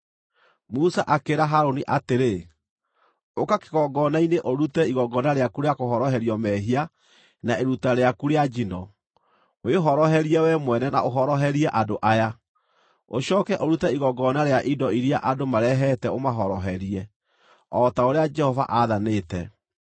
Musa akĩĩra Harũni atĩrĩ, “Ũka kĩgongona-inĩ ũrute igongona rĩaku rĩa kũhoroherio mehia na iruta rĩaku rĩa njino, wĩhoroherie wee mwene na ũhoroherie andũ aya; ũcooke ũrute igongona rĩa indo iria andũ marehete ũmahoroherie, o ta ũrĩa Jehova aathanĩte.”